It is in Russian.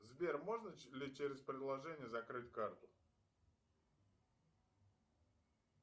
сбер можно ли через приложение закрыть карту